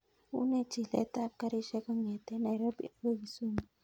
Une chilet ap karishek kongeten nairobi akoi kisumu